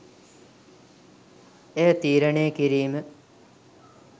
එය තීරණය කිරීම